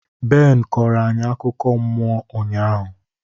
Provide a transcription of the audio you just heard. Ben kooro anyị akụkọ mmụọ ụnyahụ.